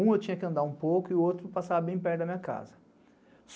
Um eu tinha que andar um pouco e o outro passava bem perto da minha casa.